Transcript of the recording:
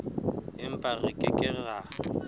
empa re ke ke ra